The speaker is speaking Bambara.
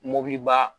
Mobiliba